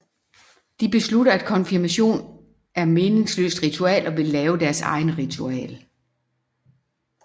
De beslutter at konfirmation er meningsløst ritual og vil lave deres eget ritual